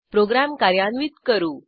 program कार्यान्वित करू